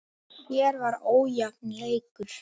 Hér var ójafn leikur.